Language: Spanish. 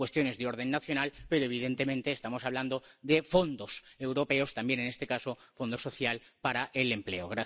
Son cuestiones de orden nacional, pero evidentemente estamos hablando de fondos europeos, también en este caso, del Fondo Social Europeo para el empleo.